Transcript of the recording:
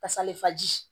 Pasa le faji